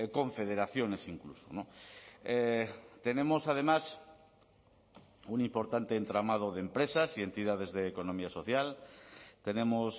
confederaciones incluso tenemos además un importante entramado de empresas y entidades de economía social tenemos